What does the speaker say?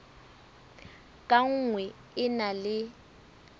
ka nngwe e na le